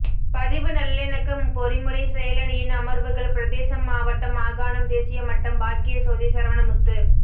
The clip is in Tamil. பதிவு நல்லிணக்க பொறிமுறை செயலணியின் அமர்வுகள் பிரதேசம் மாவட்டம் மாகாணம் தேசியமட்டம் பாக்கியசோதி சரவணமுத்து